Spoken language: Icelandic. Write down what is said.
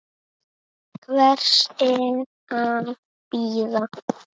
Hvers er að bíða?